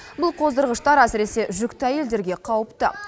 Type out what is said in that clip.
бұл қоздырғыштар әсіресе жүкті әйелдерге қауіпті